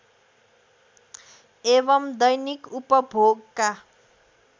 एवं दैनिक उपभोगका